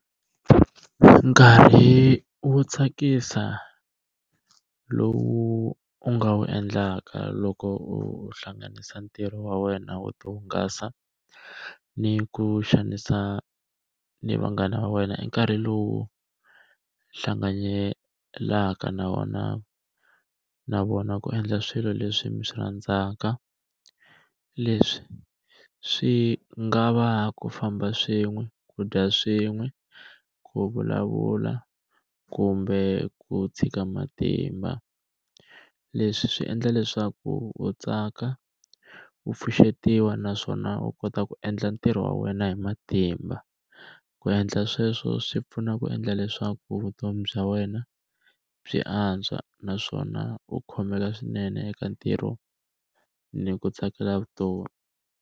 Nkarhi wo tsakisa lowu u nga wu endlaka loko u hlanganisa ntirho wa wena wo ti hungasa ni ku xanisa ni vanghana va wena i nkarhi lowu hlanganyelaka na wona na vona ku endla swilo leswi mi swi rhandzaka, leswi swi nga va ku famba swin'we ku dya swin'we ku vulavula kumbe ku tshika matimba leswi swi endla leswaku u tsaka, u pfuxetiwa naswona u kota ku endla ntirho wa wena hi matimba, ku endla sweswo swi pfuna ku endla leswaku vutomi bya wena byi antswa naswona u khomeka swinene eka ntirho ni ku tsakela vutomi.